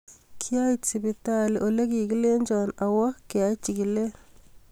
Kiait sipitai ole kikilenjo aawa keaiwa chikileet